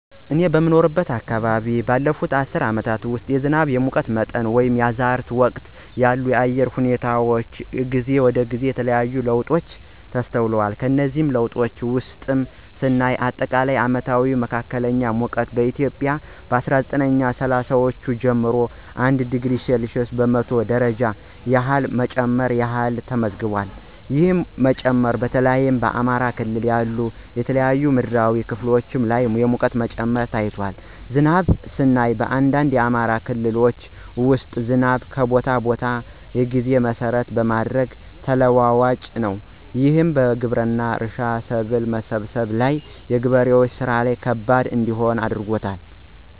እኔ በምኖርበት አከባቢ ባለፉት አስርት አመታት ውስጥ የዝናብ፣ የሙቀት መጠን ወይንም የመዝራት ወቅት ያሉ የአየር ሁኔታወች ከጊዜ ወደ ጊዜ የተለያየ ለውጦች ተስተውሏል። ከነሱም ለውጦች ውስጥ ስናይ አጠቃላይ አመታዊ መካከለኛ ሙቀት በኢትዮጵያ ከ አስራ ዘጠኝ ስልሳወቹ ጀምሮ 1°c በመቶ ደረጃ ያህል መጨመር ያህል ተመዝግቧል። ይህ መጨመር በተለይ በአማራ ክልል ያሉ የተለያዩ ምድራዊ ክፍሎች ላይ የሙቀት መጨመር ታይቷል። ዝናብንም ስናይ በአንዳንድ የአማራ ክልሎች ውስጥ ዝናብ ከቦታ ቦታ እና ጊዜ መሰረት በማድረግ ተለዋዋጭ ነው። ይህም ግብርና፣ እርሻ፣ ሰብል መሰብሰብ ላይ የገበሬዎችን ስራ ከባድ እንዲሆን አድርጎባቸዋል።